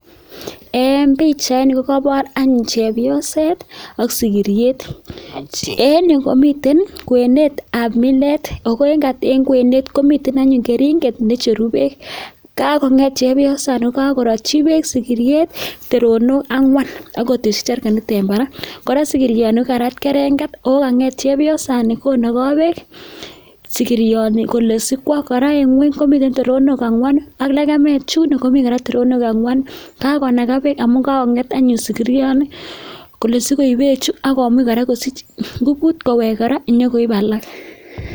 En bichait nito kokabar anyun chepyoset ak sikiriet en yu komitem kwenet ab milet okot en kwenet komiten anyun keringet necheru bek kakonget chepyosani korati bek sigiret teronik angwan akoteshi chergenit en Barak kora sikirini kokarat kerenget akokanger chepyosani konaga bek sigironi kole sikwo aeng Gwen komiten toronok angwanu ak legemet yuno komiten toronok angwanu kakonaga bek amun kanget anyun sigironi sikoib beche sikomuchanyun kosich ngubut kowek koraa konyo koib alao